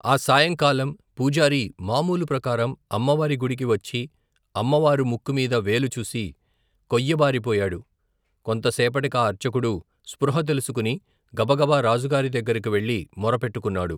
ఆ సాయంకాలం, పూజారి, మామూలు ప్రకారం, అమ్మవారి గుడికి వచ్చి, అమ్మ వారు, ముక్కుమీద వేలుచూసి, కొయ్యబారి పోయాడు, కొంతసేపటికా అర్చకుడు, స్పృహ తెలుసుకుని, గబగబా, రాజుగారి దగ్గరకు వెళ్లి, మొరపెట్టుకున్నాడు.